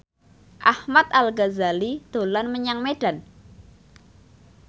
Ahmad Al Ghazali dolan menyang Medan